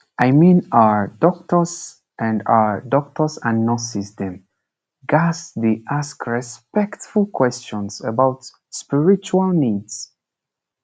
i mean ah doctors and ah doctors and nurses dem ghats dey ask respectful questions about spiritual needs